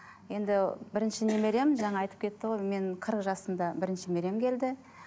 енді бірінші немерем жаңа айтып кетті ғой мен қырық жасымда бірінші немерем келді